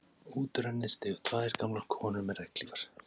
Út úr henni stigu tvær gamlar konur með regnhlífar.